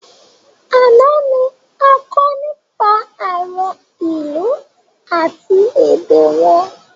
Àná ni a kọ nípa àwọn ìlú àti èdè wọn